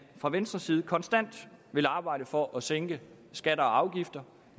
fra venstres side konstant vil arbejde for at sænke skatter og afgifter